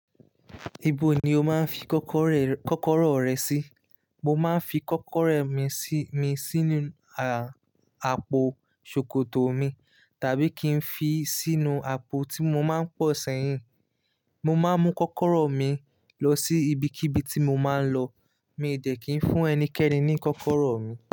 Ibo ni o máa ń fi kọ́kọ́rọ́ rẹ, kọ́kọ́rọ́ rẹ sí? Mo máa ń fi kọ́kọ́rọ́ mi sí, mi sínú à, àpò ṣòkòtò mi tàbí kí n fi sínú àpò tí mo máa ń pọ̀n sẹ́yìn. Mo máa ń mú kọ́kọ́rọ́ mi lọ sí ibikíbi tí mo máa ń lọ. Mi ì dẹ̀ kí n fún ẹnikẹ́ni ní kọ́kọ́rọ́ mi.